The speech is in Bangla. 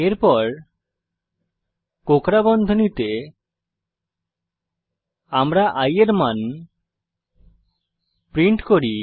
এরপর কোঁকড়া বন্ধনীতে আমরা i এর মান প্রিন্ট করি